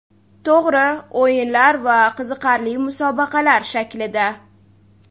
To‘g‘ri, o‘yinlar va qiziqarli musobaqalar shaklida.